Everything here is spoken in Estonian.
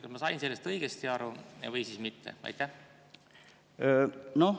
Kas ma sain sellest õigesti aru või mitte?